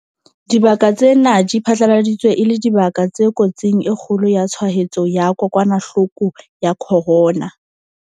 Dibaka tsena di phatlaladitswe e le dibaka tse kotsing e kgolo ya tshwaetso ya kokwanahloko ya corona.